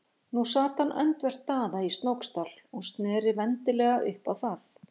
Nú sat hann öndvert Daða í Snóksdal og sneri vendilega upp á það.